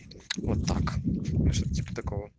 вот так ну что то типо такого